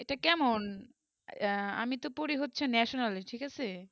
এইটা কেমন আমি তো পড়ি হচ্ছে national এ ঠিক আছে